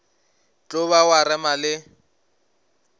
tlo ba wa rema le